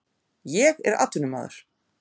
Ég er atvinnumaður.